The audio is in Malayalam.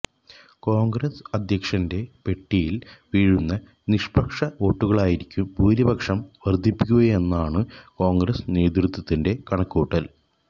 കോണ്ഗ്രസ് അധ്യക്ഷന്റെ പെട്ടിയില് വീഴുന്ന നിഷ്പക്ഷ വോട്ടുകളായിരിക്കും ഭൂരിപക്ഷം വര്ധിപ്പിക്കുകയെന്നാണു കോണ്ഗ്രസ് നേതൃത്വത്തിന്റെ കണക്കുകൂട്ടല്